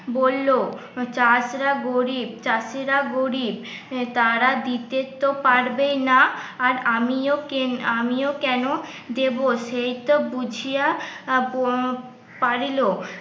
বলল চাষরা গরিব চাষিরা গরিব তারা দিতে তো পারবেই না আর আমিও কেন আমিও কেন দেব সেই তো বুঝিয়া প পারিল